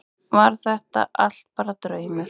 Var þetta allt bara draumur?